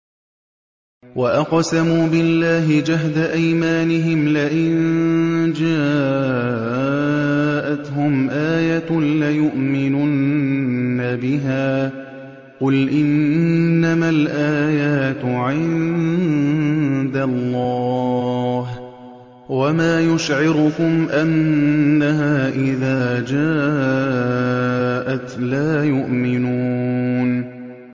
وَأَقْسَمُوا بِاللَّهِ جَهْدَ أَيْمَانِهِمْ لَئِن جَاءَتْهُمْ آيَةٌ لَّيُؤْمِنُنَّ بِهَا ۚ قُلْ إِنَّمَا الْآيَاتُ عِندَ اللَّهِ ۖ وَمَا يُشْعِرُكُمْ أَنَّهَا إِذَا جَاءَتْ لَا يُؤْمِنُونَ